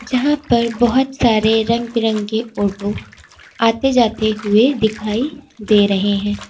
जहां पर बहुत सारे रंग बिरंगी ओटो आते जाते हुए दिखाई दे रहे हैं।